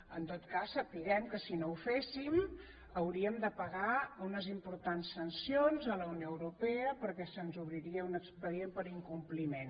en tot cas sapiguem que si no ho féssim hauríem de pagar unes importants sancions a la unió europea perquè se’ns obriria un expedient per incompliment